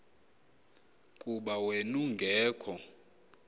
kuba wen ungekho